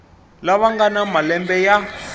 lava nga na malembe ya